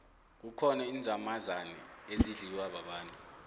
kukhona inzamazane ezidliwa babantu